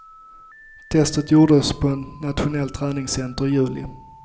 Testet gjordes på ett nationellt träningscenter i juli.